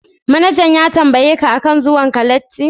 Manajan ya tambaye ka akan zuwan latti?